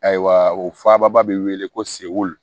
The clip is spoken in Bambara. Ayiwa o fababa bɛ wele ko segu